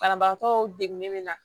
Banabagatɔw degunnen bɛ na